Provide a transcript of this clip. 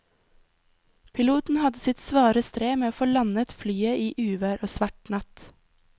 Piloten hadde sitt svare strev med å få landet flyet i uvær og svart natt.